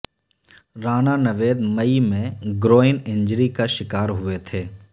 رانا نوید مئی میں groin injury کا شکار ہوئے تھے